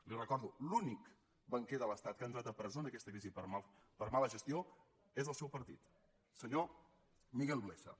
li ho recordo l’únic banquer de l’estat que ha entrat a presó en aquesta crisi per mala gestió és del seu partit el senyor miguel blesa